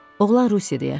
Oğlan Rusiyada yaşayırdı.